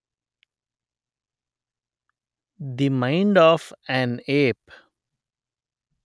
the mind of an app